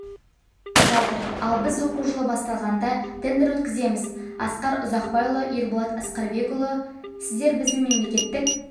жатыр ал біз оқу жылы басталғанда тендер өткіземіз асқар ұзақбайұлы ерболат аскарбекұлы сіздер біздің мемлекеттік